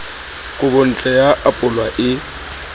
kobontle ya ho apolwa e